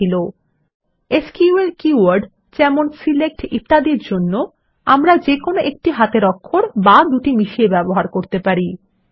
SELECT এর মত SQL keyword জন্য আমরা যে কোন একটি হাতের অক্ষর বা মিশিয়ে ব্যবহার করতে পারি